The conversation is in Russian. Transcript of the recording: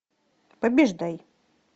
побеждай